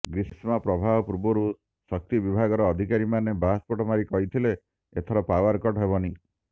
ଗ୍ରୀଷ୍ମ ପ୍ରବାହ ପୂର୍ବରୁ ଶକ୍ତି ବିଭାଗର ଅଧିକାରୀମାନେ ବାହାସ୍ପୋଟ ମାରି କହିଥିଲେ ଏଥର ପାୱାର କଟ୍ ହେବନି